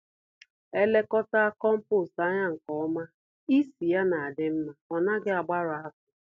Elekọtaa kompost ányá nke ọma, ísì ya n'adị mmá, ọnaghị agbarụ afọ